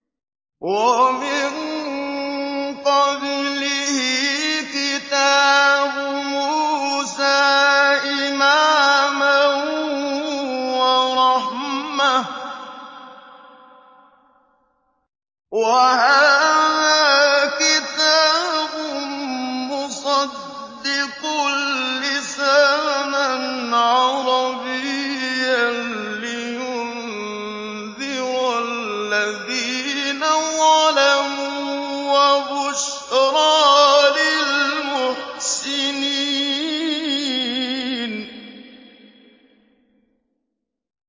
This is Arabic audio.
وَمِن قَبْلِهِ كِتَابُ مُوسَىٰ إِمَامًا وَرَحْمَةً ۚ وَهَٰذَا كِتَابٌ مُّصَدِّقٌ لِّسَانًا عَرَبِيًّا لِّيُنذِرَ الَّذِينَ ظَلَمُوا وَبُشْرَىٰ لِلْمُحْسِنِينَ